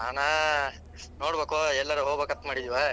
ನಾನ. ನೋಡಬೇಕೋ ಎಲ್ಲಾರ ಹೋಗ್ಬೇಕಂತ ಮಾಡಿದ್ವ.